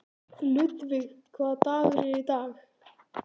Ludvig, hvaða dagur er í dag?